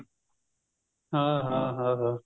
ਹਾਂ ਹਾਂ ਹਾਂ